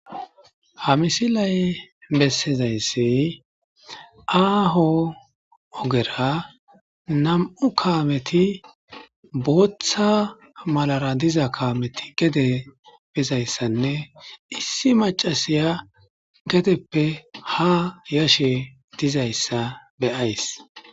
Ha misilay bessizayssi aaho ogera nam'u kaameti booththa malara diza kaameti gede bizayssanne issi macasiya gedeppe ha yashe dizayssa beyays.